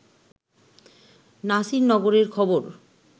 নাসির নগরের খবর